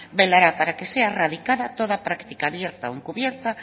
velará para que sea erradica toda práctica abierto o encubierta